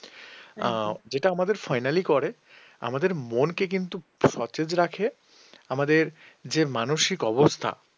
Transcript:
যেটা আমাদের finally করে আমাদের মনকে কিন্তু সতেজ রাখে আমাদের যে মানসিক অবস্থা